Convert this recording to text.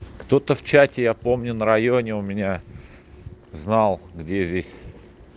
кто-то в чате я помню на районе у меня знал где здесь